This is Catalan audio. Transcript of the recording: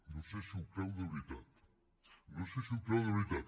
no sé si ho creu de veritat no sé si ho creu de veritat